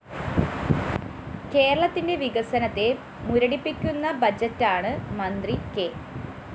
കേരളത്തിന്റെ വികസനത്തെ മുരടിപ്പിക്കുന്ന ബജറ്റാണ്‌ മന്ത്രി കെ